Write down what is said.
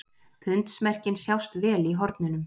Pundsmerkin sjást vel í hornunum.